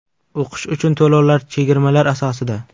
O‘qish uchun to‘lovlar chegirmalar asosida!